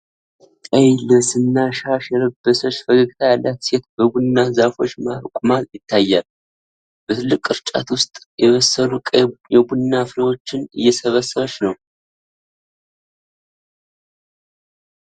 ቀይ ልብስና ሻሽ የለበሰች ፈገግታ ያላት ሴት በቡና ዛፎች መሃል ቆማ ይታያል። በትልቅ ቅርጫት ውስጥ የበሰሉ ቀይ የቡና ፍሬዎችን እየሰበሰበች ነው።